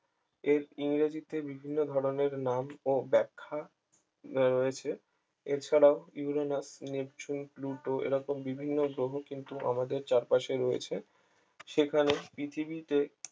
এর ইংরেজিতে বিভিন্ন ধরনের নাম ও ব্যাখ্যা রয়েছে এছাড়াও ইউরেনাস নেপচুন প্লুটো এরা তো বিভিন্ন গ্রহ কিন্তু আমাদের চারপাশে রয়েছে সেখানে পৃথিবীতে